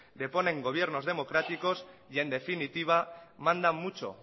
deponen gobiernos democráticos y en definitiva mandan mucho